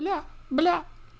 бля бля